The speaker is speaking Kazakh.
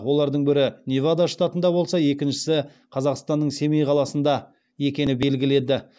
олардың бірі невада штатында болса екіншісі қазақстанның семей қаласында екені белгілі еді